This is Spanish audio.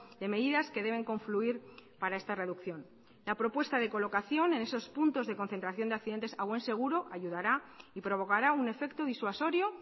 de medidas que deben confluir para esta reducción la propuesta de colocación en esos puntos de concentración de accidentes a buen seguro ayudará y provocará un efecto disuasorio